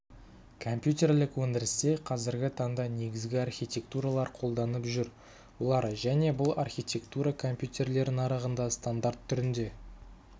компьютерлік өндірісте қазіргі таңда негізгі архитектуралар қолданып жүр олар және бұл архитектура микрокомпьютерлер нарығында стандарт түрінде